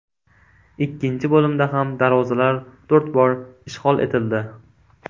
Ikkinchi bo‘limda ham darvozalar to‘rt bor ishg‘ol etildi.